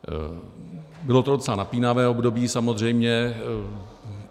Bylo to docela napínavé období, samozřejmě.